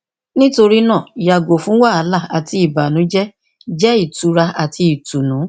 nitorina yago fun wahala ati ibanujẹ jẹ itura ati itunu